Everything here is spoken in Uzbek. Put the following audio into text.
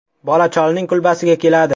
Bola cholning kulbasiga keladi.